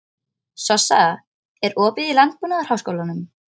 Sossa, er opið í Landbúnaðarháskólanum?